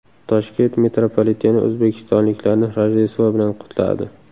Toshkent mitropoliti o‘zbekistonliklarni Rojdestvo bilan qutladi.